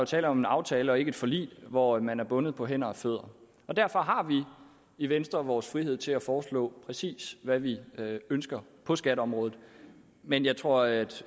tale om en aftale og ikke et forlig hvor man er bundet på hænder og fødder derfor har vi i venstre vores frihed til at foreslå præcis hvad vi ønsker på skatteområdet men jeg tror at